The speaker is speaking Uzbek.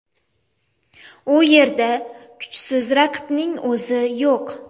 U yerda kuchsiz raqibning o‘zi yo‘q.